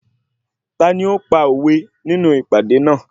Tani ó ń pa òwe nínú ìpàdé náà?